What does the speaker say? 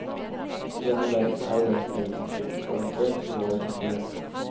I denne verden er derfor mennesket garantert å bevare sin frihet.